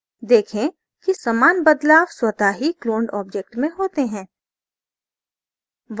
देखें कि समान बदलाव स्वतः ही cloned object में होते हैं